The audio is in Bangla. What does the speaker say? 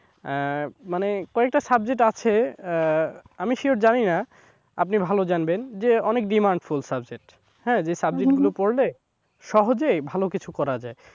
আহ মানে কয়েকটা subject আছে আহ আমি sure জানিনা আপনি ভালো জানবেন যে অনেক demand full subject হ্যাঁ যে subject গুলো পড়লে সহজেই ভালো কিছু করা যায়।